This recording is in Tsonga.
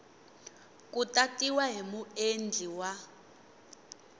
ku tatiwa hi muendli wa